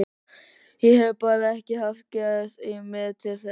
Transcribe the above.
Ég hef bara ekki haft geð í mér til þess.